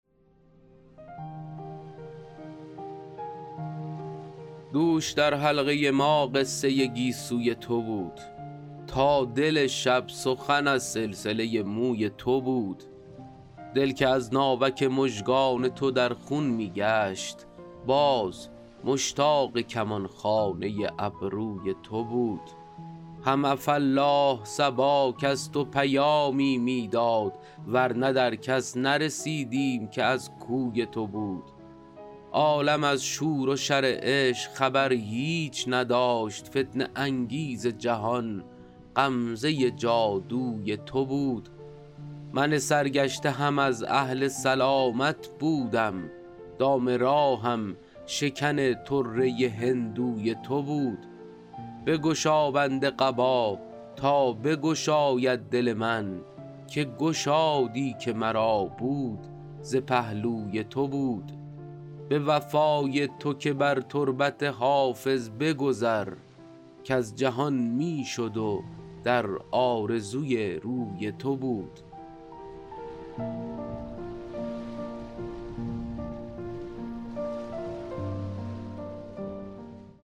دوش در حلقه ما قصه گیسوی تو بود تا دل شب سخن از سلسله موی تو بود دل که از ناوک مژگان تو در خون می گشت باز مشتاق کمان خانه ابروی تو بود هم عفاالله صبا کز تو پیامی می داد ور نه در کس نرسیدیم که از کوی تو بود عالم از شور و شر عشق خبر هیچ نداشت فتنه انگیز جهان غمزه جادوی تو بود من سرگشته هم از اهل سلامت بودم دام راهم شکن طره هندوی تو بود بگشا بند قبا تا بگشاید دل من که گشادی که مرا بود ز پهلوی تو بود به وفای تو که بر تربت حافظ بگذر کز جهان می شد و در آرزوی روی تو بود